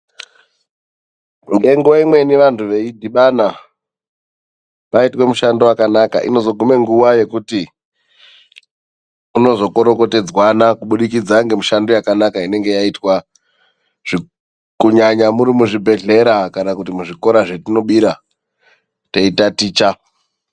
Ngenguva imweni vantu veidhibana paitwa mushando vakanaka inozoguma nguva yekuti kuno zokorokotedzwana kubudikidza nemishando yakanaka inenge yaitwa. Kunyanya muri muzvibhedhlera kana kuti muzvikora zvatinobira teitaticha.